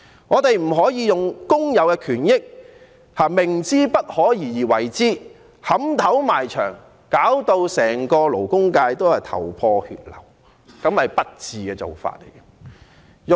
我們不能用工友的權益作賭注，明知不可而為之，以頭撼牆，弄至整個勞工界頭破血流，那是不智的做法。